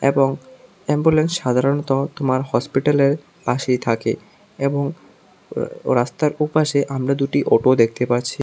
এবং অ্যাম্বুলেন্স সাধারণত তোমার হসপিটালের পাশেই থাকে এবং ও রাস্তার ওপাশে আমরা দুটো অটো দেখতে পারছি।